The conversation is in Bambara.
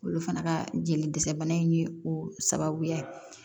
Olu fana ka jeli dɛsɛ bana in ye o sababuya ye